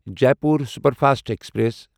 Jaipur superfast express